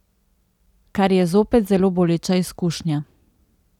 Kar je zopet zelo boleča izkušnja.